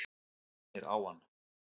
Mænir á hann.